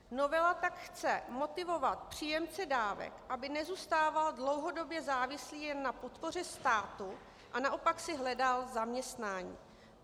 Novela tak chce motivovat příjemce dávek, aby nezůstával dlouhodobě závislý jen na podpoře státu, a naopak si hledal zaměstnání.